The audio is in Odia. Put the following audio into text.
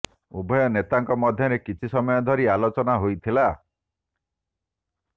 ଉଭୟ ନେତାଙ୍କ ମଧ୍ୟରେ କିଛି ସମୟ ଧରି ଆଲୋଚନା ହୋଇଥିଲା